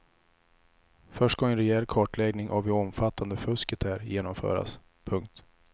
Först ska en rejäl kartläggning av hur omfattande fusket är genomföras. punkt